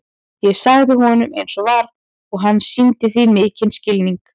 Ég sagði honum eins og var og hann sýndi því mikinn skilning.